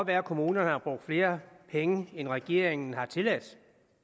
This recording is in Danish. være kommunerne har brugt flere penge end regeringen har tilladt